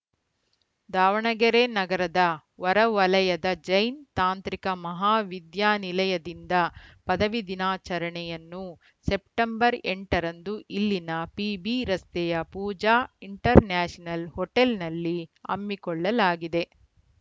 ದಾವಣಗೆರೆ ನಗರದ ಹೊರ ವಲಯದ ಜೈನ್‌ ತಾಂತ್ರಿಕ ಮಹಾವಿದ್ಯಾನಿಲಯದಿಂದ ಪದವಿ ದಿನಾಚರಣೆಯನ್ನು ಸೆಪ್ಟೆಂಬರ್ ಎಂಟ ರಂದು ಇಲ್ಲಿನ ಪಿಬಿ ರಸ್ತೆಯ ಪೂಜಾ ಇಂಟರ್‌ ನ್ಯಾಷನಲ್‌ ಹೋಟೆಲ್‌ನಲ್ಲಿ ಹಮ್ಮಿಕೊಳ್ಳಲಾಗಿದೆ